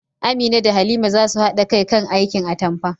Amina da Halima za su haɗa kai kan aikin atampa